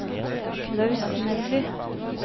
Klaus Melby